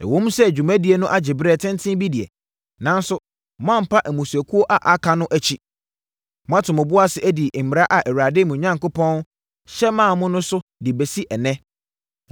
Ɛwom sɛ dwumadie no agye berɛ tenten bi deɛ, nanso moampa mmusuakuo a aka no akyi. Moato mo bo ase adi mmara a Awurade, mo Onyankopɔn hyɛ maa mo no so de abɛsi ɛnnɛ.